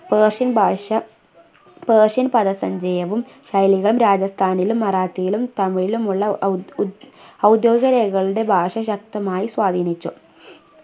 persian ഭാഷ persian പദസഞ്ചയവും ശൈലികളും രാജസ്ഥാനിലും മറാത്തിയിലും തമിഴിലും ഉള്ള ഉദ് ഉദ് ഔദ്യോഗിക രേഖകളുടെ ഭാഷ ശക്തമായി സ്വാധീനിച്ചു